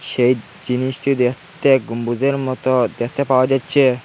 সেই জিনিসটি দেখতে গম্বুজের মতো দেখতে পাওয়া যাচ্ছে।